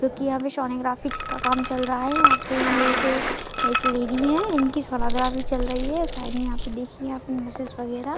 जो की यहाँ पे सोनोग्राफ़ी जी का काम चल रहा है यहाँ पे ये जो एक लेडि है इनकी सोनोग्राफ़ी चल रही है साइड में यहाँ पे देखिये वगैरा--